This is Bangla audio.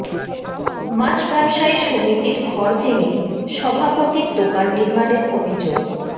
মাছ ব্যবসায়ী সমিতির ঘর ভেঙে সভাপতির দোকান নির্মাণের অভিযোগ